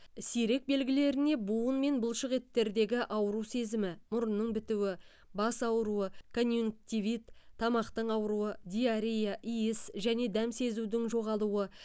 сирек белгілеріне буын мен бұлшықеттердегі ауру сезімі мұрынның бітуі бас ауруы конъюнктивит тамақтың ауруы диарея иіс және дәм сезудің жоғалуы